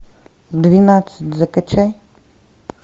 двенадцать закачай